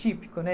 Típico, né?